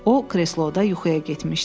O, kresloda yuxuya getmişdi.